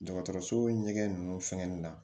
Dɔgɔtɔrɔso ɲɛgɛn ninnu fɛngɛ nin na